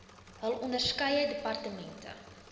hul onderskeie departemente